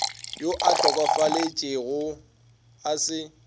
yo a hlokofetšego a se